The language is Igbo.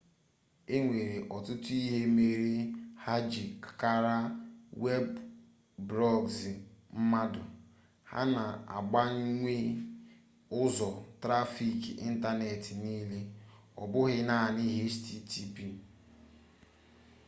enwere ọtụtụ ihe mere ha ji kara web prọgzi mma ha na-agbanwe ụzọ trafik ịntanetị niile ọ bụghị naanị http